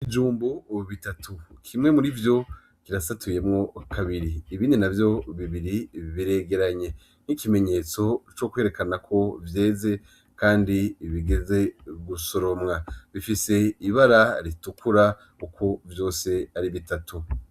Ibijumbu bitatu, kimwe murivyo kirasatuyemwo kabiri, ibindi ntavyo bibiri biregeranye nk'ikimenyetso co kwerekana ko vyeze kandi bigeze gusoromwa, bifise ibara ritukura uko vyose ari bitatu.